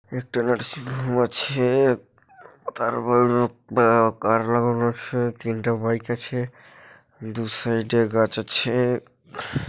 একটি নার্সিংহোম আছে-এ উম তার ওপর বা তিনটা বাইক আছে দু সাইড এ গাছ আছে।